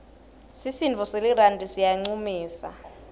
sisinduo selirandi siyancumisa